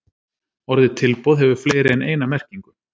Orðið tilboð hefur fleiri en eina merkingu.